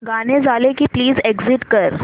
गाणं झालं की प्लीज एग्झिट कर